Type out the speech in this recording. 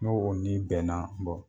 N'o o n'i bɛnna